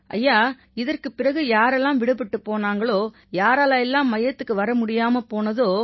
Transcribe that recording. ஐயா இதற்குப் பிறகு யாரெல்லாம் விடுபட்டுப் போனாங்களோ யாரால எல்லாம் மையத்துக்கு வர முடியாம போனதோ